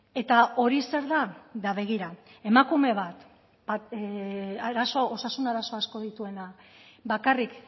eta hori zer da ba begira emakume bat osasun arazo asko dituena bakarrik